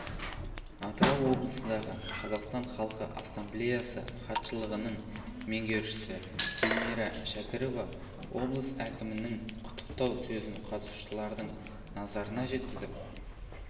атырау облысындағы қазақстан халқы ассамблеясы хатшылығының меңгерушісі гүлмира шәкірова облыс әкімінің құттықтау сөзін қатысушылардың назарына жеткізіп